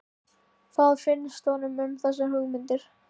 Hvað finnst honum um þessar hugmyndir?